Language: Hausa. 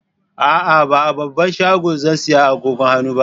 A'a, ba a babban shago zan saya agogon hannun ba.